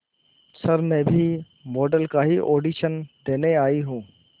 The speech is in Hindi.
सर मैं भी मॉडल का ही ऑडिशन देने आई हूं